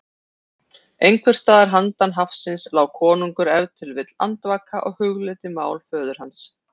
Einhvers staðar handan hafsins lá konungur ef til vill andvaka og hugleiddi mál föður hans.